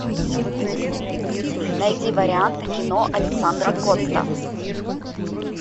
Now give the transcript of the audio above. найди варианты кино александра котта